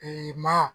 maa